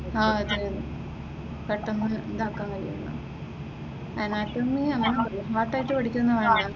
ആഹ് അതെ അതെ പെട്ടെന്നു ഇതാകാൻ കഴിയുകയുള്ളൂ നോട്ട് ആയിട്ട് പഠിക്കുകയൊന്നും വേണ്ട